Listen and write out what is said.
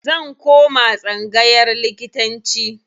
Zan koma tsangayar likitanci.